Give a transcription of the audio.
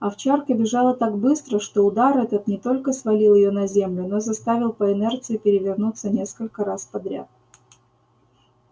овчарка бежала так быстро что удар этот не только свалил её на землю но заставил по инерции перевернуться несколько раз подряд